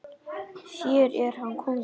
Hér er hann kóngur.